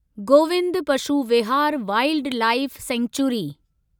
Govind Pashu Vihar wildlife sanctuary